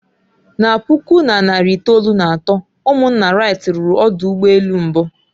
Na puku na narị itoolu na atọ, ụmụnna wright ruru ọdụ ụgbọ elu mbụ